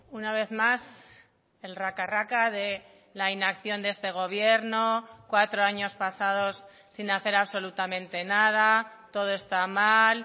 una vez más el raca raca de la inacción de este gobierno cuatro años pasados sin hacer absolutamente nada todo está mal